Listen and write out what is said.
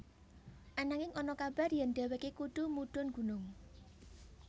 Ananging ana kabar yèn dhéwéké kudu mudhun gunung